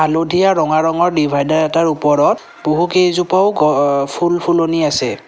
হালধীয়া ৰঙা ৰঙৰ ডিভাইডাৰ এটাৰ ওপৰত বহু কেইজোপাও অ ফুল ফুলনি আছে।